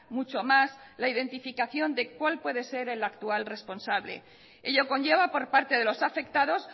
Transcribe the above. mucho más la identificación de cual puede ser el actual responsable ello conlleva por parte de los afectados